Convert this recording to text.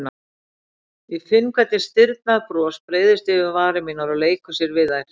Og ég finn hvernig stirðnað bros breiðist yfir varir mínar og leikur sér við þær.